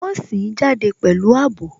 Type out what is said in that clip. Wọn sìn ín jáde pẹ̀lú àbò